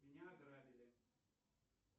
меня ограбили